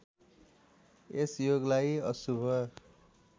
यस योगलाई अशुभ